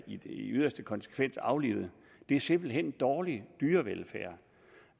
i yderste konsekvens bliver aflivet det er simpelt hen dårlig dyrevelfærd